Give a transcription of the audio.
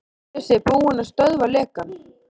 Telja sig búin að stöðva lekann